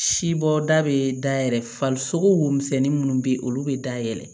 Sibɔda bɛ dayɛlɛ farisogo womisɛnni minnu bɛ ye olu bɛ da yɛlɛ